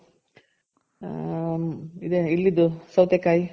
ಹ್ಮ್ ಇಲ್ಲಿದು ಸೌತೆ ಕಾಯಿ